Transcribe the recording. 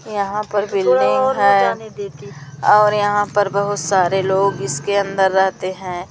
यहां पर बिल्डिंग है और यहां पर बहुत सारे लोग इसके अंदर रहते हैं।